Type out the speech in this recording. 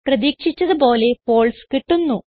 പ്രതീക്ഷിച്ചത് പോലെ ഫാൽസെ കിട്ടുന്നു